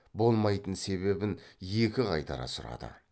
болмайтын себебін екі қайтара сұрады